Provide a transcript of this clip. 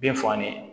Bin fagalen